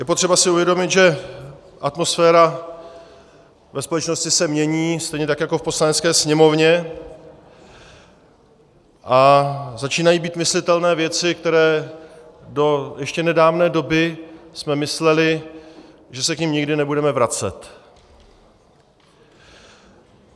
Je potřeba si uvědomit, že atmosféra ve společnosti se mění, stejně tak jako v Poslanecké sněmovně, a začínají být myslitelné věci, které do ještě nedávné doby jsme mysleli, že se k nim nikdy nebudeme vracet.